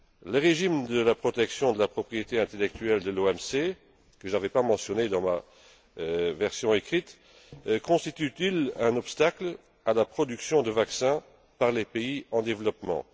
Le régime de protection de la propriété intellectuelle de l'OMC, que je n'avais pas mentionné dans ma version écrite, constitue t il un obstacle à la production de vaccins par les pays en développement?